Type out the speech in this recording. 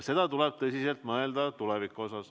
Ja tuleb tõsiselt mõelda, mida tulevikus teha.